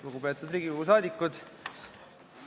Lugupeetud Riigikogu liikmed!